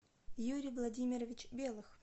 юрий владимирович белых